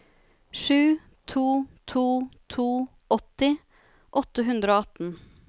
sju to to to åtti åtte hundre og atten